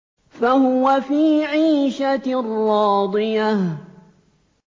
فَهُوَ فِي عِيشَةٍ رَّاضِيَةٍ